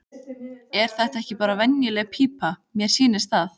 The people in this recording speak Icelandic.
Er þetta ekki bara venjuleg pípa, mér sýnist það.